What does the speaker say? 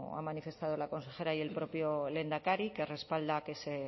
ha manifestado la consejera y el propio lehendakari que respalda que se